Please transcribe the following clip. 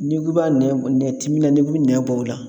N'i ko b'a nɛn nɛn ti min na n'i k'i bi nɛn bɔ o la.